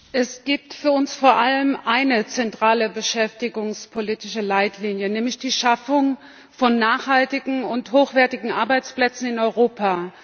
Frau Präsidentin! Es gibt für uns vor allem eine zentrale beschäftigungspolitische Leitlinie, nämlich die Schaffung von nachhaltigen und hochwertigen Arbeitsplätzen in Europa.